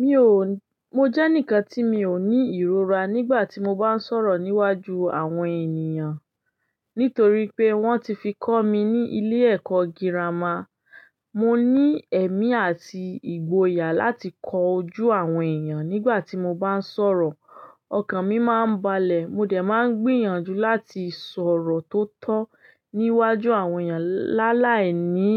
Mi ò, mo jẹ́ enikan tí mi ò ní ìrora nígbà tí mo bá ń sọ̀rọ̀ níwájú àwọn ènìyàn. Nítorí pé wọ́n ti fi kọ́ mi ní ilé ẹ̀kọ́ girama. Mo ní ẹ̀mí àti ìgboyà láti kọ ojú àwọn ènìyàn nígbà tí mo bá ń sọ̀rọ̀. Ọkàn mi máa ń balẹ̀, mo dẹ̀ máa ń gbìyànjú láti sọ̀rọ̀ tó tọ́ níwájú àwọn ènìyàn lálàí ní